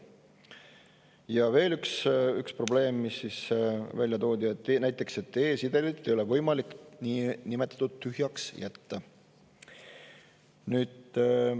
Ja veel üks probleem, mis välja toodi: e-sedelit ei ole võimalik niinimetatud tühjaks jätta.